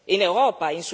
In Europa?